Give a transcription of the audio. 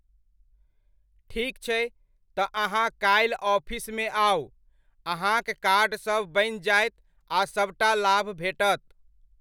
ठीक छै, तऽ अहाँ काल्हि ऑफिसमे आउ, अहाँक कार्ड सब बनि जायत आ सबटा लाभ भेटत।